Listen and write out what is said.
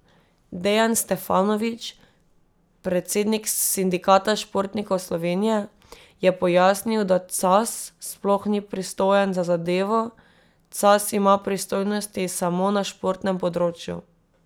Dejan Stefanović, predsednik Sindikata športnikov Slovenije, je pojasnil, da Cas sploh ni pristojen za zadevo: 'Cas ima pristojnosti samo na športnem področju.